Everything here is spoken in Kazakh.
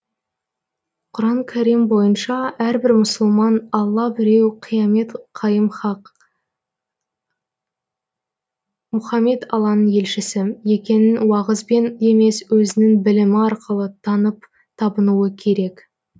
құран кәрим бойынша әрбір мұсылман алла біреу қиямет қайым хақ мұхаммед алланың елшісі екенін уағызбен емес өзінің білімі арқылы танып табынуы керек